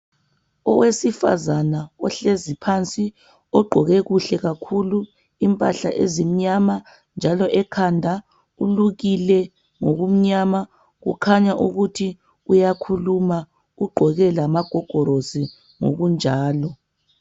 Owesifazana ohlezi phansi ogqqoke kuhle kakhulu impahla ezimnyama njalo ekhanda ulukile ngokumnyama kukhanya ukuthi uyakhuluma ugqoke lamagogorosi ngokunjalo.